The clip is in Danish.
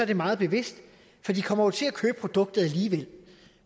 det meget bevidst for de kommer jo til at købe produktet alligevel